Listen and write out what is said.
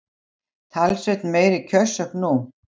Talsvert meiri kjörsókn nú